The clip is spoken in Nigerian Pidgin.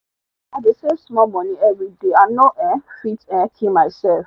i dey save small money everyday i no um fit um kill myself